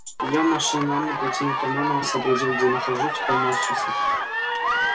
я машинально потянулся к карману сообразил где нахожусь и поморщился